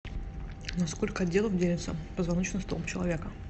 на сколько отделов делится позвоночный столб человека